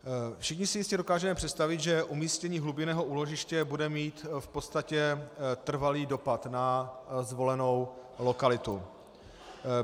Všichni si jistě dokážeme představit, že umístění hlubinného úložiště bude mít v podstatě trvalý dopad na zvolenou lokalitu.